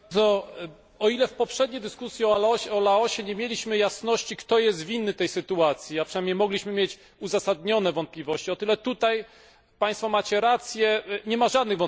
O ile w poprzedniej dyskusji o Laosie nie mieliśmy jasności, kto jest winny tej sytuacji, a przynajmniej mogliśmy mieć uzasadnione wątpliwości, o tyle tutaj macie Państwo rację nie ma żadnych wątpliwości.